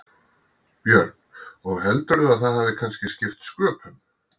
Björn: Og heldurðu að það hafi kannski skipt sköpum?